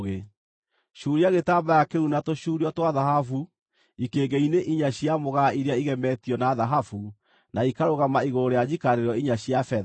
Cuuria gĩtambaya kĩu na tũcuurio twa thahabu ikĩngĩ-inĩ inya cia mũgaa iria igemetio na thahabu, na ikarũgama igũrũ rĩa njikarĩro inya cia betha.